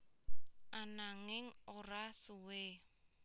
Ananging ora suwe